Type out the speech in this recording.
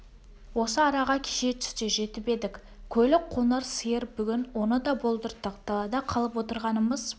осы араға кеше түсте жетіп едік көлік қоңыр сиыр бүгін оны да болдырттық далада қалып отырғанымыз